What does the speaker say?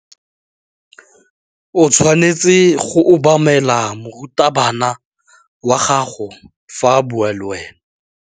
O tshwanetse go obamela morutabana wa gago fa a bua le wena.